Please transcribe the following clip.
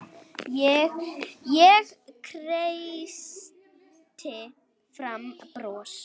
Ég kreisti fram bros.